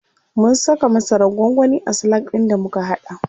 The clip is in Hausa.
Mun saka masarar gwangwani a salak ɗin da muka haɗa.